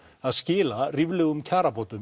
að skila ríflegum kjarabótum